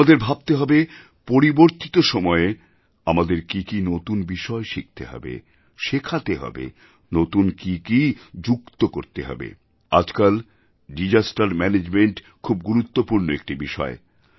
আমাদের ভাবতে হবে পরিবর্তিত সময়ে আমাদের কি কি নতুন বিষয় শিখতে হবে শেখাতে হবেনতুন কি কি যুক্ত করতে হবে আজকাল দিশাস্তের ম্যানেজমেন্ট খুব গুরুত্বপূর্ণ একটি বিষয়